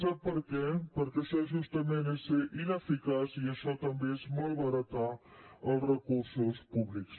sap per què perquè això justament és ser ineficaç i això també és malbaratar els recursos públics